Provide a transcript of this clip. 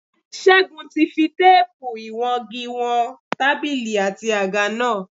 Ṣégun ti fi téèpù ìwọngi wọn tábìlì àti àga náà